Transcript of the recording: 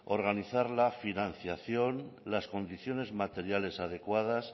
organizar la financiación las condiciones materiales adecuadas